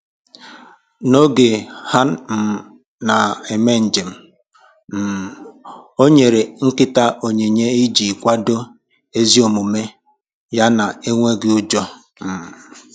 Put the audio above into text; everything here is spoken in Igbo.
N'oge ha um na-eme njem, um ọ nyere nkịta onyinye iji kwadoo ezi omume ya na enweghị ụjọ um